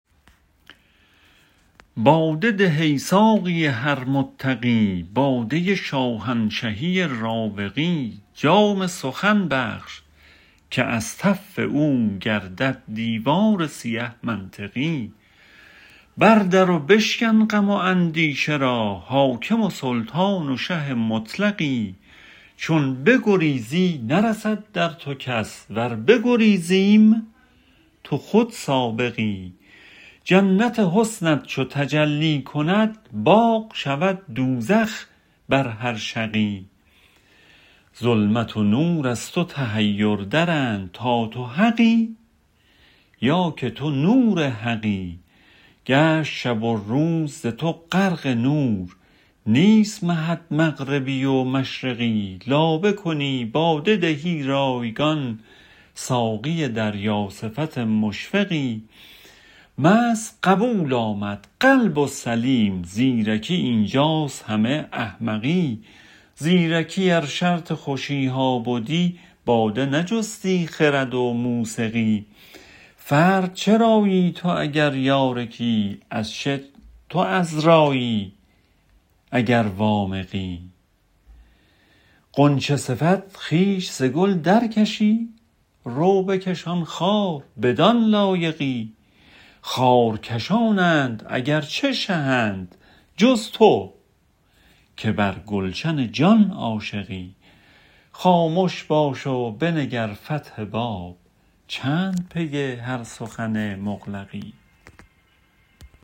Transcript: باده ده ای ساقی هر متقی باده شاهنشهی راوقی جام سخن بخش که از تف او گردد دیوار سیه منطقی بردر و بشکن غم و اندیشه را حاکم و سلطان و شه مطلقی چون بگریزی نرسد در تو کس ور بگریزیم تو خود سابقی جنت حسنت چو تجلی کند باغ شود دوزخ بر هر شقی ظلمت و نور از تو تحیر درند تا تو حقی یا که تو نور حقی گشت شب و روز ز تو غرق نور نیست مهت مغربی و مشرقی لابه کنی باده دهی رایگان ساقی دریا صفت مشفقی مست قبول آمد قلب و سلیم زیرکی اینجاست همه احمقی زیرکی ار شرط خوشیها بدی باده نجستی خرد و موسقی فرد چرایی تو اگر یار کی از چه تو عذرایی اگر وامقی غنچه صفت خویش ز گل درکشی رو بکش آن خار بدان لایقی خار کشانند اگر چه شهند جز تو که بر گلشن جان عاشقی خامش باش و بنگر فتح باب چند پی هر سخن مغلقی